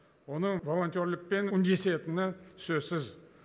оның волонтерлікпен үндесетіні сөзсіз